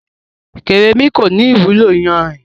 Kérémi kọ́ ni ìwúlò yanrìn.